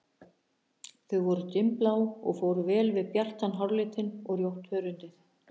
Þau voru dimmblá og fóru vel við bjartan háralitinn og rjótt hörundið.